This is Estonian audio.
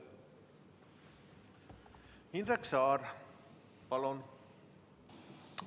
Indrek Saar, palun!